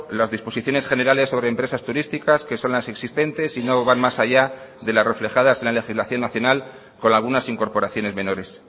las disposiciones generales sobre empresas turísticas que son las existentes y no van más allá de las reflejadas en la legislación nacional con algunas incorporaciones menores